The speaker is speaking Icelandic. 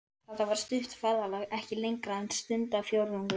Þetta var stutt ferðalag, ekki lengra en stundarfjórðungur.